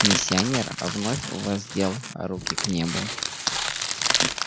миссионер вновь воздел руки к небу